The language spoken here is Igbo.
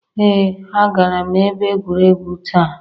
Ee agara m ebe egwuregwu taa.